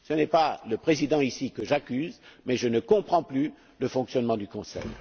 Ce n'est pas le président présent ici que j'accuse mais, je le redis, je ne comprends plus le fonctionnement du Conseil.